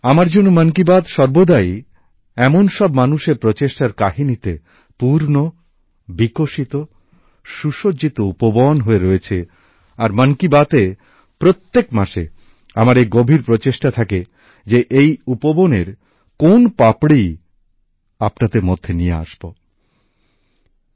আমার জন্য মন কি বাত সর্বদাই এমন সব মানুষের প্রচেষ্টার কাহিনীতে পূর্ণ বিকশিত সুসজ্জিত উপবন হয়ে রয়েছে আর মন কি বাতএ প্রত্যেক মাসে এই উপবনের কোন পাপড়ি আপনাদের মধ্যে নিয়ে আসব সেই প্রয়াসই আমার থাকে